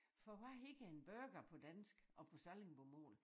For hvad hedder en burger på dansk og på sallingbomål?